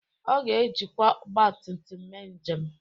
Ọ ga-ejikwa ọgbatumtum mee njem